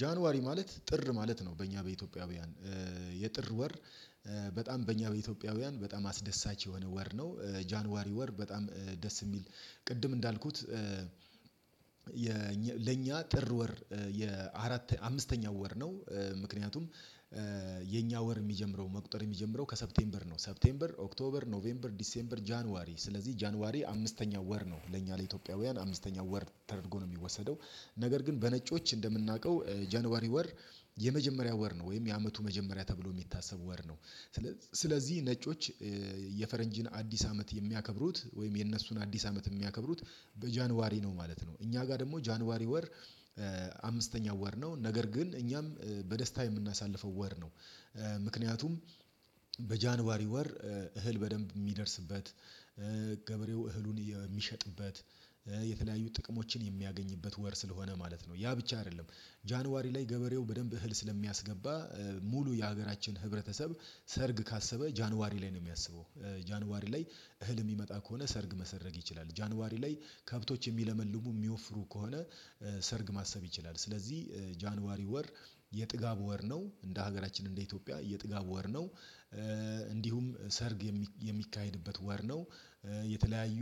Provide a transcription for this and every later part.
ጃንዋሪ ማለት ጥር ማለት ነው በእኛ በኢትዮጵያውያን የጥር ወር በጣም በእኛ በኢትዮጵያውያን በጣም አስደሳች የሆነ ወር ነው። ጃንዋሪ ወር በጣም ደስ የሚል ቅድም እንዳልኩት ለኛ ጥር ወር የአራተኛ አምስተኛው ወር ነው። ምክንያቱም የኛ ወር የሚጀምረው መቁጠር የሚጀምረው ከሰፕቴምበር ነው። ሰፕቴምበር፤ ኦክቶበር፤ ኖቬምበር፤ ዲሴምበር፤ ጃንዋሪ ስለዚህ ጃንዋሪ አምስተኛው ወር ነው ለእኛ ለኢትዮጵያውያን አምስተኛው ወር ተደርጎ ነው የሚወሰደው። ነገር ግን በነጮች እንደምናውቀው ጃንዋሪ ወር የመጀመሪያ ወር ነው ወይም የአመቱ መጀመሪያ ተብሎ የሚታሰብ ወር ነው። ስለዚህ ስለዚህ ነጮች የፈረንጅን አዲስ አመት የሚያከብሩት ወይም የነሱን አዲስ አመት የሚያከብሩት በጃንዋሪ ነው። ማለት ነው እኛ ጋር ደግሞ ጃንዋሪ ወር አምስተኛው ወር ነው ነገር ግን እኛም በደስታ የምናሳልፈው ወር ነው። ምክንያቱም በጃንዋሪ ወር እህል በደንብ የሚደርስበት፤ ገበሬው እህሉን የሚሸጥበት፤ የተለያዩ ጥቅሞችን የሚያገኝበት ወር ስለሆነ ማለት ነው፤ ያ ብቻ አይደለም ጃንዋሪ ላይ ገበሬው በደንብ እህል ስለሚያስገባ ሙሉ የሀገራችን ህብረተሰብ ሰርግ ካሰበ ጃንዋሪ ላይ ነው የሚያስበው። ጃንዋሪ ላይ እህል የሚመጣ ከሆነ ሰርግ መሰረግ ይችላል። ጃንዋሪ ላይ ከብቶች የሚለመልሙ የሚወፍሩ ከሆነ ሰርግ ማሰብ ይችላል ስለዚህ ጃንዋሪ ወር የጥጋብ ወር ነው እንደ ሀገራችን እንደ ኢትዮጵያ የጥጋብ ወር ነው። እንዲሁም ሰርግ የሚካሄድበት ወር ነው፤ የተለያዩ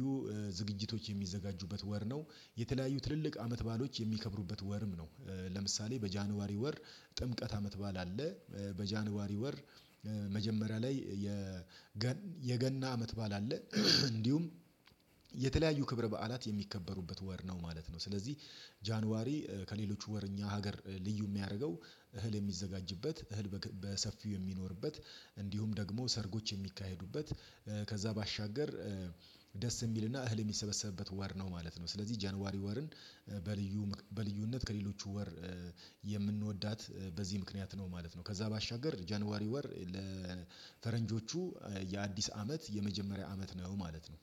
ዝግጅቶች የሚዘጋጁበት ወር ነው፤ የተለያዩ ትልልቅ አመት ባአሎች የሚከብሩበት ወርም ነው። ለምሳሌ በጃንዋሪ ወር ጥምቀት አመት ባዓል አለ፤ በጃንዋሪ ወር መጀመሪያ ላይ የገና አመት ባዓል አለ እንዲሁም የተለያዩ ክብረ በዓላት የሚከበሩበት ወር ነው ማለት ነው። ስለዚህ ጃንዋሪ ከሌሎች ወር በኛ ሀገር ልዩ የሚያደርገው እህል የሚዘጋጅበት፤ እህል በሰፊው የሚኖርበት፤ እንዲሁም ደግሞ ሰርጎች የሚካሄዱበት፤ ከዛ ባሻገር ደስ የሚልና እህል የሚሰበሰብበት ወር ነው ማለት ነው። ስለዚህ ጃንዋሪ ወርን በልዩ በልዩነት ከሌሎቹ ወር የምንወዳት በዚህ ምክንያት ነው ማለት ነው። ከዛ ባሻገር ጀንዋሪ ወር ለፈረንጆቹ የአዲስ አመት የመጀመሪያ አመት ነው ማለት ነው።